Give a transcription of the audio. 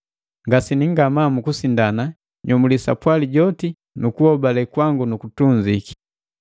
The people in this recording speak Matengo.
Ngasini ngamaa mu kusindana, nyomulii sapwali joti nukuhobale kwangu nukutunziki.